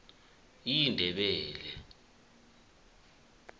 indebele